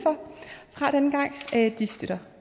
fra denne gang støtter